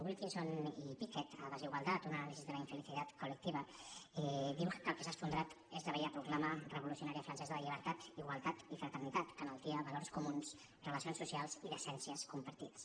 wilkinson i pickett a desigualdad un análisis de la infelicidad colectiva diu que el que s’ha esfondrat és la vella proclama revolucionària francesa de llibertat igualtat i fraternitat que enaltia valors comuns relacions socials i decències compartides